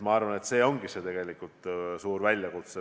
Ma arvan, et see on tegelikult suur väljakutse.